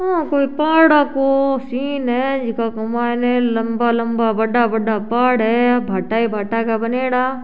ओ कोई पहाड़ा को सीन है जका के मायने लम्बा लम्बा बड़ा बड़ा पहाड़ है भाटा ही भाटा का बणयोड़ा।